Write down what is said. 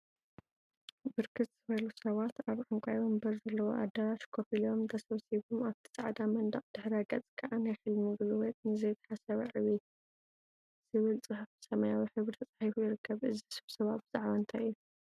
ብርክት ዝበሉ ሰባት አብ ዕንቋይ ወንበር ዘለዎ አደራሽ ኮፍ ኢሎም ተሰብሲቦም አብቲ ፃዕዳ መንደቅ ድሕረ ገፅ ከዓ “ናይ ሕልሚ ጉልበት ንዘይተሓሰበ ዕቤት” ዝብል ፅሑፍ ብሰማያዊ ሕብሪ ተፃሒፉ ይርከብ፡፡ እዚ ስብሰባ ብዛዕባ እንታይ እዩ?